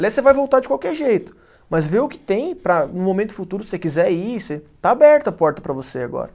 Aliás, você vai voltar de qualquer jeito, mas vê o que tem para no momento futuro, se você quiser ir você, está aberta a porta para você agora.